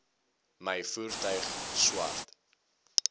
my voertuig swart